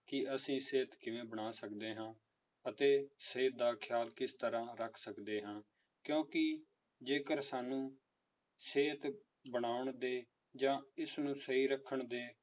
ਕਿ ਅਸੀਂ ਸਿਹਤ ਕਿਵੇਂ ਬਣਾ ਸਕਦੇ ਹਾਂ ਅਤੇ ਸਿਹਤ ਦਾ ਖਿਆਲ ਕਿਸ ਤਰ੍ਹਾਂ ਰੱਖ ਸਕਦੇ ਹਾਂ, ਕਿਉਂਕਿ ਜੇਕਰ ਸਾਨੂੰ ਸਿਹਤ ਬਣਾਉਣ ਦੇ ਜਾਂ ਇਸਨੂੰ ਸਹੀ ਰੱਖਣ ਦੇ